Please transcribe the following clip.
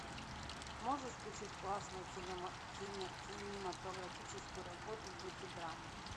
можешь включить классную кинематографическую работу в духе драмы